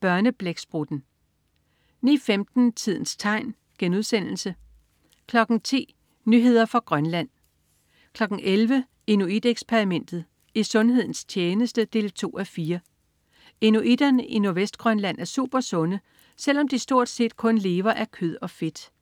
Børneblæksprutten* 09.15 Tidens tegn* 10.00 Nyheder fra Grønland 11.00 Inuit Eksperimentet. I sundhedens tjeneste 2:4. Inuitterne i Nordvestgrønland er supersunde, selv om de stort set kun lever af kød og fedt